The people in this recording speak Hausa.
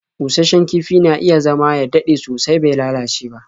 Busasshen kifi na iya zama ya dade sosai bai lalace ba.